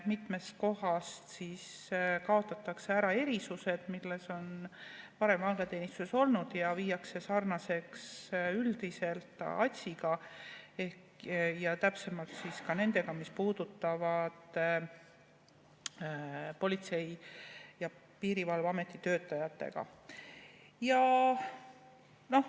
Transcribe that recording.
Mitmest kohast kaotatakse ära erisused, mis on varem vanglateenistuses olnud, ja viiakse sarnaseks üldiselt ATS‑iga ehk täpsemalt sellega, mis puudutab Politsei‑ ja Piirivalveameti töötajaid.